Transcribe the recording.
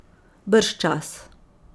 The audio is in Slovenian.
Bržčas ...